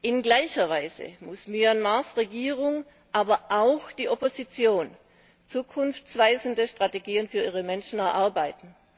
In gleicher Weise muss Myanmars Regierung, aber auch die Opposition zukunftsweisende Strategien für ihre Menschen erarbeiten.